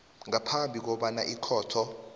ngaphambi kobana ikhotho